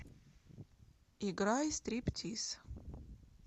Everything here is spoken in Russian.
играй стриптиз